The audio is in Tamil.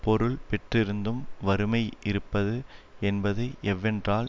பொருள் பெற்றிருந்தும் வறுமை இருப்பது என்பது எவ்வென்றால்